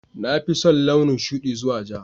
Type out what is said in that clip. Na fi son launin shuɗi zuwa ja